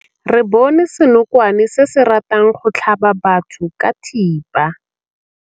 Re bone senokwane se se ratang go tlhaba batho ka thipa.